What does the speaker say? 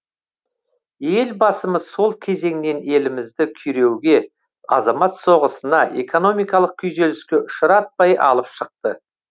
елбасымыз сол кезеңнен елімізді күйреуге азамат соғысына экономикалық күйзеліске ұшыратпай алып шықты